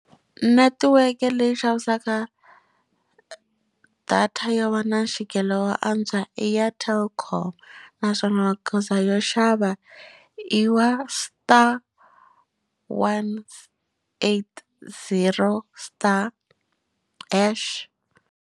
Netiweke leyi yi xavisaka data yo va na mfikelo wo antswa i ya telkom naswona magoza yo xava i wa star one eight zero star hash.